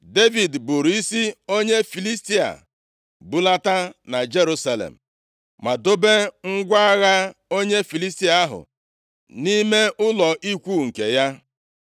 Devid buuru isi onye Filistia bulata na Jerusalem. Ma dobe ngwa agha onye Filistia ahụ nʼime ụlọ ikwu nke ya.